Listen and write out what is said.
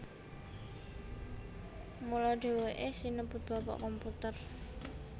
Mula dheweke sinebut Bapak Komputer